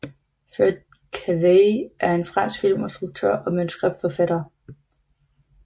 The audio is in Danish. Fred Cavayé er en fransk filminstruktør og manuskriptforfatter